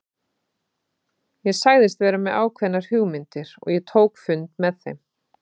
Ég sagðist vera með ákveðnar hugmyndir og ég tók fund með þeim.